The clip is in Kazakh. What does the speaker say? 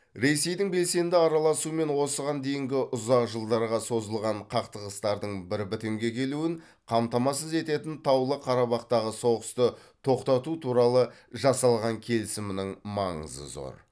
ресейдің белсенді араласуымен осыған дейінгі ұзақ жылдарға созылған қақтығыстардың бір бітімге келуін қамтамасыз ететін таулы қарабақтағы соғысты тоқтату туралы жасалған келісімнің маңызы зор